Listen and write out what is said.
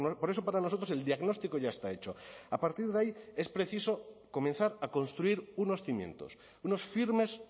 por eso para nosotros el diagnóstico ya está hecho a partir de ahí es preciso comenzar a construir unos cimientos unos firmes